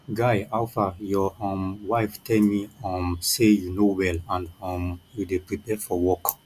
guy howfaryour um wife tell me um say you no well and um you dey prepare for work